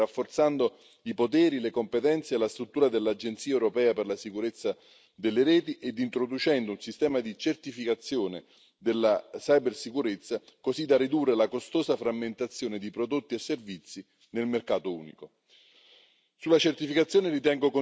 all'Europa una visione di lungo termine, rafforzando i poteri, le competenze e la struttura dell'Agenzia europea per la sicurezza delle reti ed introducendo un sistema di certificazione della cibersicurezza, così da ridurre la costosa frammentazione di prodotti e servizi nel mercato unico.